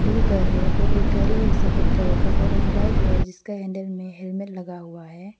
दु घर है और एक गाड़ी है सफेद कलर का और एक बाइक है जिसका हैंडल में हेलमेट लगा हुआ है।